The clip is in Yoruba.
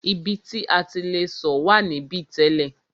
Ibi ti a ti le sọ̀ wà níbí tẹ́lẹ̀.